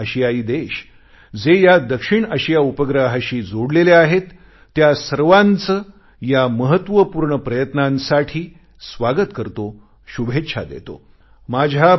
दक्षिण आशियाई देश जे या दक्षिण आशिया उपग्रहाशी जोडलेले आहेत त्या सर्वांचे या महत्वपूर्ण प्रयत्नासाठी स्वागत करतो शुभेच्छा देतो